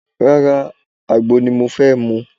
Rárá, àgbo ni mo fẹ́ mu